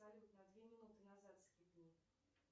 салют на две минуты назад скипни